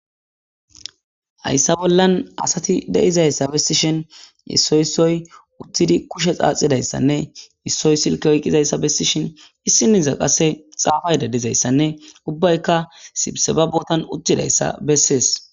Hayssa bollan asati deizayssa bessishin issoy issoy uttidi kushe xaaxidayssanne issoy silke oyqqizayssa bessishen issiniza qase xaafay dadizayssanne ubbayka sibsebabotan uttidayssa bessees.